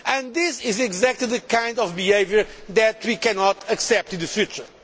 This is exactly the kind of behaviour that we cannot accept in the future.